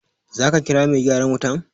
Za ka kira mai gyaran wutan?